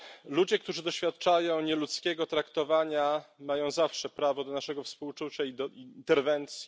Ludzie, którzy doświadczają nieludzkiego traktowania, mają zawsze prawo do naszego współczucia i do interwencji.